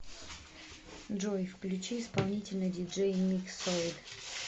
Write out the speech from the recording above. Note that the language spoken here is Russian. джой включи исполнителя диджей миксоид